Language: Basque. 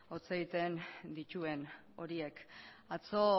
hotz egiten dituen horiek atzo